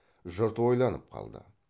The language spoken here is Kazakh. жұрт ойланып қалды